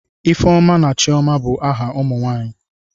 Ifeoma na Chioma bụ aha ụmụ nwanyị.